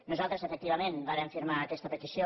nosaltres efectivament vàrem firmar aquesta petició